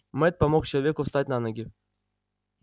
мэтт помог человеку встать на ноги